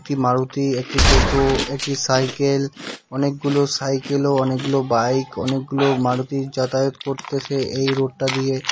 একটি মারুতি একটি টোটো একটি সাইকেল অনেকগুলো সাইকেল ও অনেকগুলো বাইক অনেকগুলো মারুতি যাতায়াত করতেসে এই রোডটা দিয়ে।